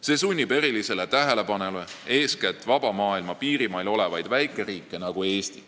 See sunnib erilisele tähelepanule eeskätt vaba maailma piirimail olevaid väikeriike, nagu Eesti.